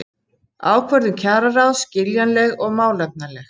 Ákvörðun kjararáðs skiljanleg og málefnaleg